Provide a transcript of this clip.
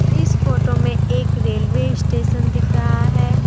इस फोटो में एक रेलवे स्टेशन दिख रहा है।